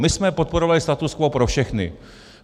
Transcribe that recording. My jsme podporovali status quo pro všechny.